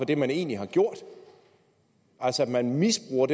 det man egentlig har gjort man misbruger